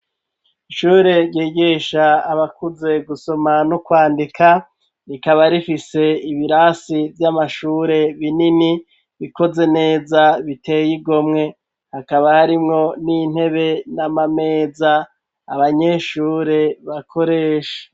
Ishure, ryigisha abakuze, gusoma n'ukwandika, rikaba rifise, ibirasi vy'amashure binini, bikoze neza, biteye igomwe; hakaba harimwo n'intebe, n'amameza, abanyeshure bakoresha.